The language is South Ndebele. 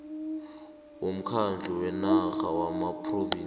womkhandlu wenarha wamaphrovinsi